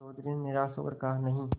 चौधरी ने निराश हो कर कहानहीं